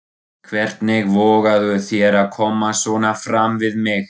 Hvernig vogarðu þér að koma svona fram við mig!